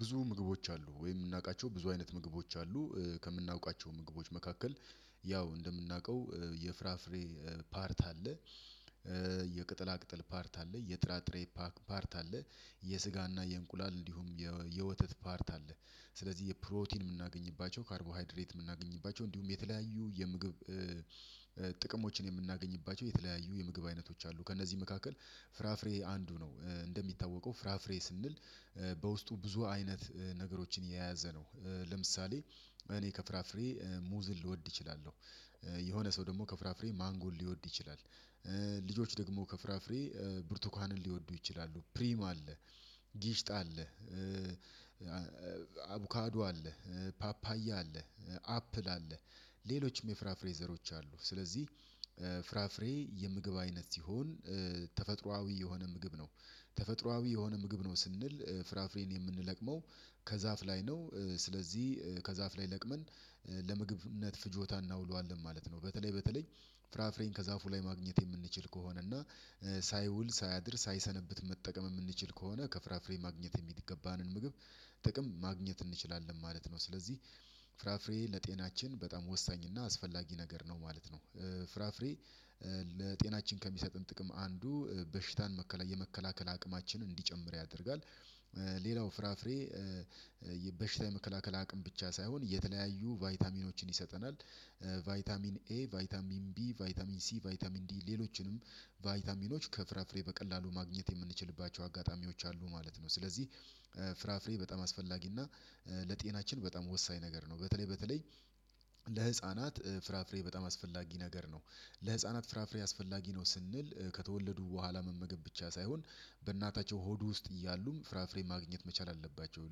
ብዙ ምግቦች አሉ ወይ? የምናውቃቸው ብዙ አይነት ምግቦች አሉ ከምናውቃቸው ምግቦች መካከል። ያው እንደምናውቀው የፍራፍሬ ፓርት አለ። የቅጠላ ቅጠል ፓርት አለ የጥራጥሬ ፓርት አለ። የስጋና የእንቁላል እንዲሁም የወተት ፓርት አለ። ስለዚህ የፕሮቲን የምናገኝባቸው ካርቦሃይድሬት የምናገኝባቸው እንዲሁም የተለያዩ የምግብ ጥቅሞችን የምናገኝባቸው የተለያዩ የምግብ አይነቶች አሉ። ከእነዚህ መካከል ፍራፍሬ አንዱ ነው። እንደሚታወቀው ፍራፍሬ ስንል በውስጡ ብዙ አይነት ነገሮችን የያዘ ነው። ለምሳሌ እኔ ከፍራፍሬ ሙዝን ልወድ እችላለሁ። የሆነ ሰው ደግሞ ከፍራፍሬ ማንጎን ሊወድ ይችላል። ልጆች ደግሞ ከፍራፍሬ ብርቱካንን ሊወዱ ይችላሉ ፕሪም አለ። ጊሽጣ አለ። አቡካዱ አለ። ፓፓያ አለ። አፕል አለ። ሌሎችም የፍራፍሬ ዘሮች አሉ። ስለዚህ ፍራፍሬ የምግብ አይነት ሲሆን ተፈጥሮአዊ የሆነ ምግብ ነው። ተፈጥሮአዊ የሆነ ምግብ ነው ስንል ፍራፍሬን የምንለቅመው ከዛፍ ላይ ነው። ስለዚህ ከዛፍ ላይ ለቅመን ለምግብነት ፍጆታ እናውለዋለን ማለት ነው። በተለይ በተለይ ፍራፍሬን ከዛፉ ላይ ማግኘት የምንችል ከሆነ እና ሳይውል ሳያድር ሳይሰነብት መጠቀም የምንችል ከሆነ ከፍራፍሬ ማግኘት የሚገባንን ምግብ ጥቅም ማግኘት እንችላለን ማለት ነው። ስለዚህ ፍራፍሬ ለጤናችን በጣም ወሳኝ እና አስፈላጊ ነገር ነው ማለት ነው። ፍራፍሬ ለጤናችን ከሚሰጠን ጥቅም አንዱ በሽታን መከላ የመከላከል አቅማችንን እንዲጨምር ያደርጋል። ሌላው ፍራፍሬ የበሽታ የመከላከል አቅም ብቻ ሳይሆን የተለያዩ ቫይታሚኖችን ይሰጠናል። ቫይታሚን ኤ ቫይታሚን ቢ ቫይታሚን ሲ ቫይታሚን ዲ ሌሎችንም ቫይታሚኖች ከፍራፍሬ በቀላሉ ማግኘት የምንችልባቸው አጋጣሚዎች አሉ ማለት ነው። ስለዚህ ፍራፍሬ በጣም አስፈላጊ እና ለጤናችን በጣም ወሳኝ ነገር ነው። በተለይ በተለይ ለህፃናት ፍራፍሬ በጣም አስፈላጊ ነገር ነው። ለህፃናት ፍራፍሬ አስፈላጊ ነው ስንል ከተወለዱ በኋላ መመገብ ብቻ ሳይሆን በእናታቸው ሆድ ውስጥ እያሉም ፍራፍሬ ማግኘት መቻል አለባቸው።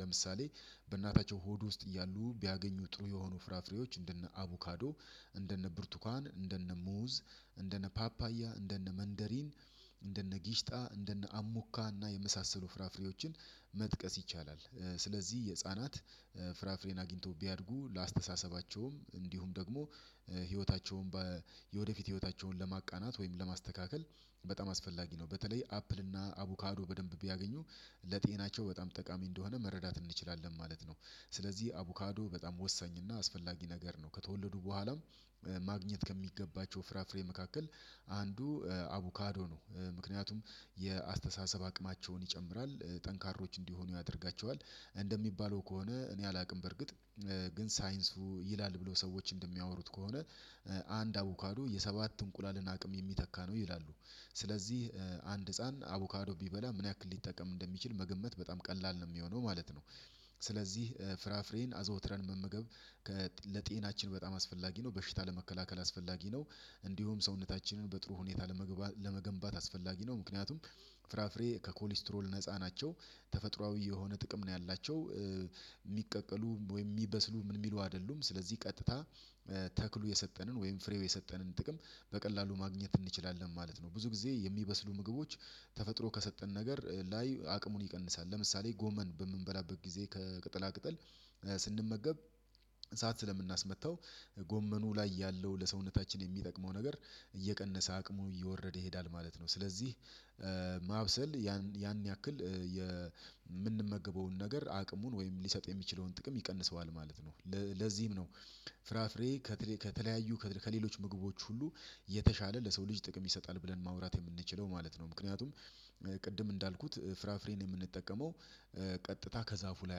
ለምሳሌ በእናታቸው ሆድ ውስጥ እያሉ ቢያገኙ ጥሩ የሆኑ ፍራፍሬዎች እንደነ አቮካዶ እንደነ ብርቱካን እንደነ ሙዝ እንደነ ፓፓያ እንደነ መንደሪን እንደነ ጊሽጣ እንደነ አሙካና የመሳሰሉ ፍራፍሬዎችን መጥቀስ ይቻላል። ስለዚህ የህፃናት ፍራፍሬን አግኝተው ቢያድጉ ለአስተሳሰባቸውም እንዲሁም ደግሞ ህይወታቸውን የወደፊት ህይወታቸውን ለማቃናት ወይም ለማስተካከል በጣም አስፈላጊ ነው። በተለይ አፕል እና አቡካዶ በደንብ ቢያገኙ ለጤናቸው በጣም ጠቃሚ እንደሆነ መረዳት እንችላለን ማለት ነው። ስለዚህ አቡካዶ በጣም ወሳኝ እና አስፈላጊ ነገር ነው። ከተወለዱ በኋላም ማግኘት ከሚገባቸው ፍራፍሬ መካከል አንዱ አቡካዶ ነው። ምክንያቱም የአስተሳሰብ አቅማቸውን ይጨምራል ጠንካሮች እንዲሆኑ ያደርጋቸዋል። እንደሚባለው ከሆነ እኔ አላውቅም በርግጥ ግን ሳይንሱ ይላል ብሎ ሰዎች እንደሚያወሩት ከሆነ አንድ አቮካዱ የሰባት እንቁላልን አቅም የሚተካ ነው ይላሉ። ስለዚህ አንድ ህፃን አቮካዶ ቢበላ ምን ያክል ሊጠቀም እንደሚችል መገመት በጣም ቀላል ነው የሚሆነው ማለት ነው። ስለዚህ ፍራፍሬን አዘውትረን መመገብ ለጤናችን በጣም አስፈላጊ ነው በሽታ ለመከላከል አስፈላጊ ነው። እንዲሁም ሰውነታችንን በጥሩ ሁኔታ ለመገንባት አስፈላጊ ነው። ምክንያቱም ፍራፍሬ ከኮሌስትሮል ነፃ ናቸው ተፈጥሮአዊ የሆነ ጥቅም ነው ያላቸው። የሚቀቀሉ ወይም የሚበስሉ ምን የሚሉ አይደሉም። ስለዚህ ቀጥታ ተክሉ የሰጠንን ወይም ፍሬው የሰጠንን ጥቅም በቀላሉ ማግኘት እንችላለን ማለት ነው። ብዙ ጊዜ የሚበስሉ ምግቦች ተፈጥሮ ከሰጠን ነገር ላይ አቅሙን ይቀንሳል። ለምሳሌ ጎመን በምንበላበት ጊዜ ከቅጠላ ቅጠል ስንመገብ እሳት ስለምናስመታው ጎመኑ ላይ ያለው ለሰውነታችን የሚጠቅመው ነገር እየቀነሰ አቅሙ እየወረደ ይሄዳል ማለት ነው። ስለዚህ ማብሰል ያን ያን ያክል የምንመገበውን ነገር አቅሙን ወይም ሊሰጥ የሚችለውን ጥቅም ይቀንሰዋል ማለት ነው። ለዚህም ነው ፍራፍሬ ከተለያዩ ከሌሎች ምግቦች ሁሉ የተሻለ ለሰው ልጅ ጥቅም ይሰጣል ብለን ማውራት የምንችለው ማለት ነው። ምክንያቱም ቅድም እንዳልኩት ፍራፍሬን የምንጠቀመው ቀጥታ ከዛፉ ላይ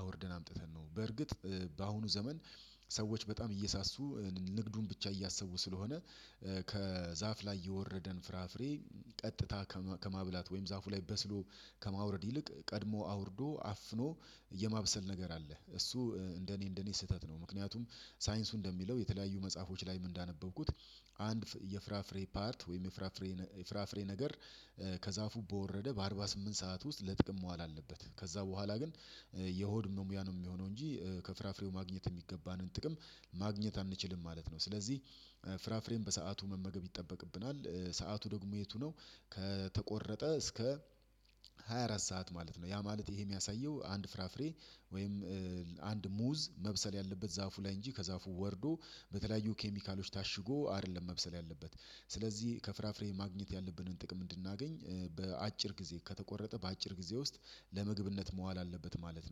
አውርደን አምጥተን ነው። በርግጥ በአሁኑ ዘመን ሰዎች በጣም እየሳሱ ንግዱን ብቻ እያሰቡ ስለሆነ ከዛፍ ላይ የወረደን ፍራፍሬ ቀጥታ ከማብላት ወይም ዛፉ ላይ በስሎ ከማውረድ ይልቅ ቀድሞ አውርዶ አፍኖ የማብሰል ነገር አለ እሱ እንደኔ እንደኔ ስህተት ነው። ምክንያቱም ሳይንሱ እንደሚለው የተለያዩ መጽሐፎች ላይም እንዳነበብኩት አንድ የፍራፍሬ ፓርት ወይም የፍራፍሬ የፍራፍሬ ነገር ከዛፉ በወረደ በአርባ ስምት ሰዓት ውስጥ ለጥቅም መዋል አለበት። ከዛ በኋላ ግን የሆድ መሙያ ነው የሚሆነው እንጂ ከፍራፍሬው ማግኘት የሚገባንን ጥቅም ማግኘት አንችልም ማለት ነው። ስለዚህ ፍራፍሬም በሰአቱ መመገብ ይጠበቅብናል። ሰዓቱ ደግሞ የቱ ነው? ከተቆረጠ እስከ ሃያ አራት ሰዓት ማለት ነው። ያ ማለት ይሄ የሚያሳየው አንድ ፍራፍሬ ወይም አንድ ሙዝ መብሰል ያለበት ዛፉ ላይ እንጂ ከዛፉ ወርዶ በተለያዩ ኬሚካሎች ታሽጎ አይደለም። መብሰል ያለበት። ስለዚህ ከፍራፍሬ ማግኘት ያለብንን ጥቅም እንድናገኝ በአጭር ጊዜ ከተቆረጠ በአጭር ጊዜ ውስጥ ለምግብነት መዋል አለበት። ማለት ነው